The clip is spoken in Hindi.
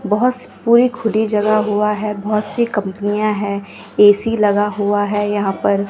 बहोत स पूरी खुली जगह हुआ है बहोत सी कंपनियां है ऐ_सी लगा हुआ है यहां पर--